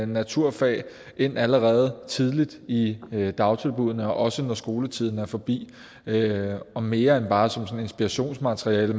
naturfag ind allerede tidligt i dagtilbuddene også når skoletiden er forbi og mere end bare som sådan et inspirationsmateriale